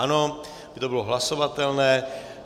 Ano, aby to bylo hlasovatelné.